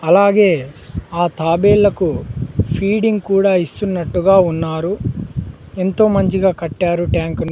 అలాగే ఆ తాబేలకు ఫీడింగ్ కూడా ఇస్తున్నట్టుగా ఉన్నారు ఎంతో మంచిగా కట్టారు ట్యాంకులు .